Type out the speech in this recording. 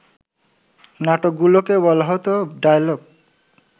নাটকগুলোকে বলা হত ডায়ালগ